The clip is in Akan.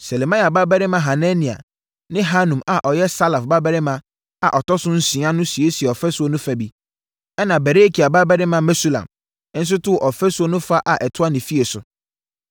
Selemia babarima Hanania ne Hanun a ɔyɛ Salaf babarima a ɔtɔ so nsia no siesiee ɔfasuo no fa bi, ɛna Berekia babarima Mesulam nso too ɔfasuo no fa a ɛtoa ne fie so.